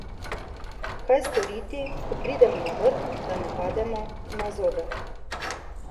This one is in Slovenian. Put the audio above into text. Kaj storiti, ko pridemo na vrh, da ne pademo na zobe?